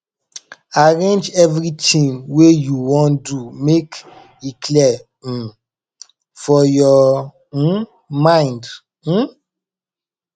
arrange evritin wey you wan do mek e clear um for yur um mind um